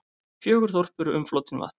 Fjögur þorp eru umflotin vatni.